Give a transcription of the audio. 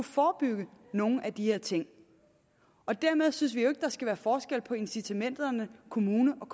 forebygge nogle af de her ting dermed synes vi jo ikke at der skal være forskel på incitamenterne kommunerne